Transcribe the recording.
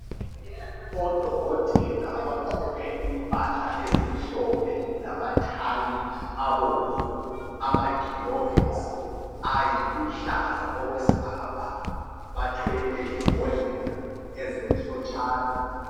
Odokotela abagqoke impahla ezimhlophe lamathayi abomvu amagilovisi ayiluhlaza okwesibhakabhaka bathwele imbodlela ezimhlotshana.